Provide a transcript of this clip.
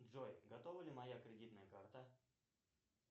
джой готова ли моя кредитная карта